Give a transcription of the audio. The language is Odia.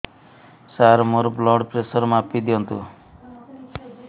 ସାର ମୋର ବ୍ଲଡ଼ ପ୍ରେସର ମାପି ଦିଅନ୍ତୁ